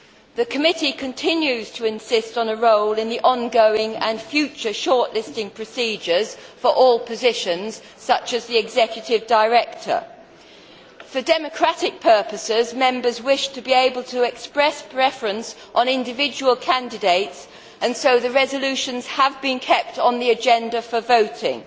The committee continues to insist on a role in the ongoing and future shortlisting procedures for all positions, such as that of executive director. For democratic purposes, Members wish to be able to express a preference on individual candidates, and so the resolutions have been kept on the agenda for voting.